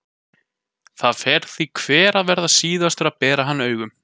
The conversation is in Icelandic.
Það fer því hver að verða síðastur að berja hann augum.